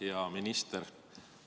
Hea minister!